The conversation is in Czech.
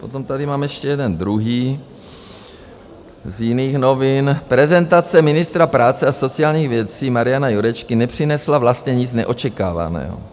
Potom tady mám ještě jeden - druhý - z jiných novin: Prezentace ministra práce a sociálních věcí Mariana Jurečky nepřinesla vlastně nic neočekávaného.